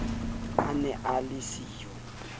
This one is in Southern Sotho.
a ne a le siyo